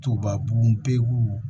Toba bugun pewu